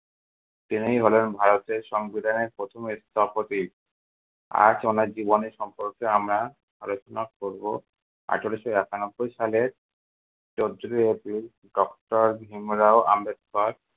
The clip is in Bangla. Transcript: ইনিই হলেন ভারতের সংবিধানের প্রথম স্থপতি। আজ ওনার জীবনের সম্পর্কে আমরা আলোচনা করবো। আঠারশো একানব্বই সালের চোদ্দই april doctor ভীমরাও আম্বেদকর